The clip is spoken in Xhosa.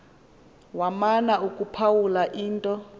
wamana ukuphawula into